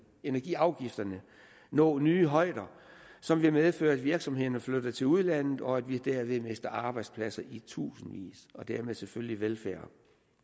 energiafgifterne nå nye højder som vil medføre at virksomhederne flytter til udlandet og at vi derved mister arbejdspladser i tusindvis og dermed selvfølgelig velfærd